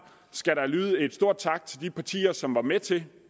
skal der lyde en stort tak til de partier som var med til